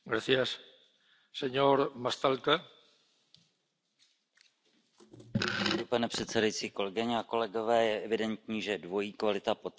Pane předsedající, kolegyně a kolegové, je evidentní, že dvojí kvalita potravin trápí zejména spotřebitele v nových členských státech EU.